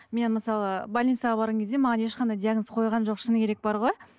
мен мысалы больницаға барған кезде маған ешқандай диагноз қойған жоқ шыны керек бар ғой